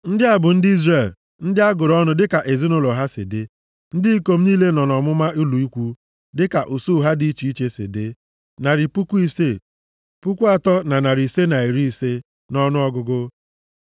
Ndị a bụ ndị Izrel, ndị a gụrụ ọnụ dịka ezinaụlọ ha si dị. Ndị ikom niile nọ nʼọmụma ụlọ ikwu, dịka usuu ha dị iche iche si dị, narị puku isii, puku atọ na narị ise na iri ise (603,550) nʼọnụọgụgụ.